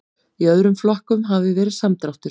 Í öðrum flokkum hafi verið samdráttur